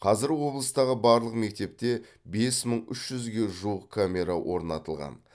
қазір облыстағы барлық мектепте бес мың үш жүзге жуық камера орнатылған